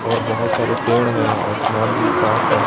और बहोत सारे पेड़ हैं और आसमान भी साफ है।